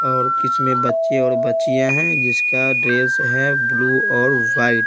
और इसमें बच्चे और बच्चियां हैं जिसका ड्रेस है ब्लू और वाइट ।